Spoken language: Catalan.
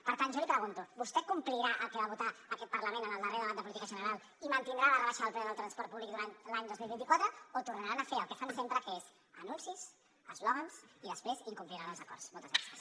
per tant jo li pregunto vostè complirà el que va votar aquest parlament en el darrer debat de política general i mantindrà la rebaixa del preu del transport públic durant l’any dos mil vint quatre o tornaran a fer el que fan sempre que és anuncis eslògans i després incompliran els acords moltes gràcies